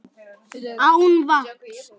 Án vatns.